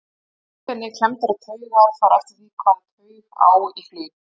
einkenni klemmdrar taugar fara eftir því hvaða taug á í hlut